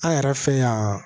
An yɛrɛ fɛ yan